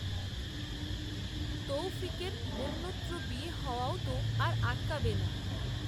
তৌফিকের অন্যত্র বিয়ে হওয়াও তো আর আটকাবে না